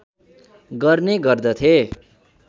गर्ने गर्दथे